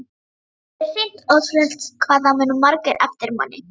Alveg hreint ótrúlegt hvað það muna margir eftir manni!